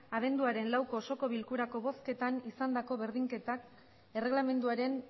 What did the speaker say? abenduaren lauko osoko bilkurako bozketan izandako berdinketak erregelamenduaren